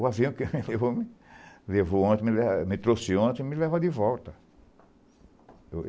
O avião que me levou levou ontem, me trouxe ontem, me leva de volta.